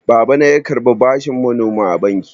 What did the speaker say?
Babana ya karɓa bashin manoma a banki.